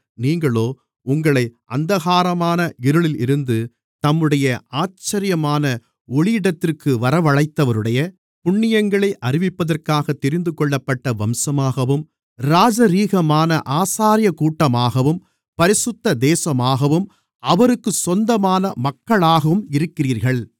நீங்களோ உங்களை அந்தகாரமான இருளில் இருந்து தம்முடைய ஆச்சரியமான ஒளியிடத்திற்கு வரவழைத்தவருடைய புண்ணியங்களை அறிவிப்பதற்காகத் தெரிந்துகொள்ளப்பட்ட வம்சமாகவும் ராஜரீகமான ஆசாரியக்கூட்டமாகவும் பரிசுத்த தேசமாகவும் அவருக்குச் சொந்தமான மக்களாகவும் இருக்கிறீர்கள்